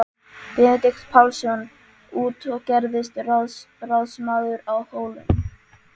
Benedikt Pálsson út og gerðist ráðsmaður að Hólum.